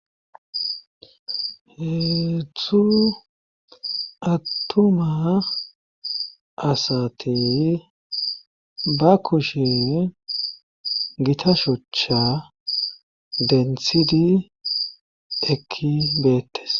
Heedtzhzu attumma asati baa kushshe gitta shochcha denthrhidi ekki beettes